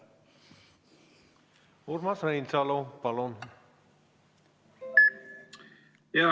Urmas Reinsalu, palun!